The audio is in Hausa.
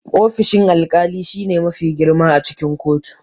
Ofishin alkali shine mafi girma a cikin kotu.